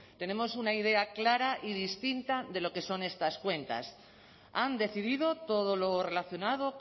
tenemos una idea clara y distinta de lo que son estas cuentas han decidido todo lo relacionado